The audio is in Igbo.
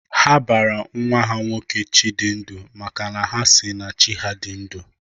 Ha bara nwa ha nwoke 'Chidindu' maka na ha si na Chi ha dị ndu